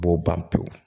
U b'o ban pewu